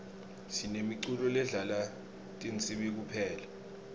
sinemiculo ledlala tinsibi kuphela